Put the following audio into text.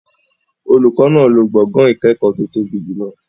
Olùkọ́ náà máa lo gbọ̀ngàn ìkẹ́kọ̀ọ́ tó tóbi jùlọ.